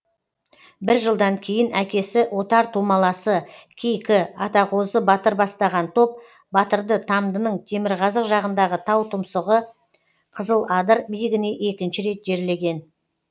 бір жылдан кейін әкесі отар тумаласы кейкі атағозы батыр бастаған топ батырды тамдының темірқазық жағындағы тау тұмсығы қызыладыр биігіне екінші рет жерлеген